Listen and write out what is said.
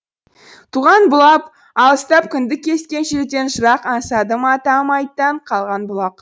алыстап кіндік кескен жерден жырақ аңсадым атам айттан қалған бұлақ